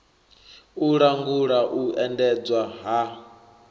u langula u endedzwa ha